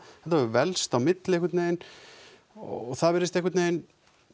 hefur velkst á milli einhvern veginn og það virðist einhvern veginn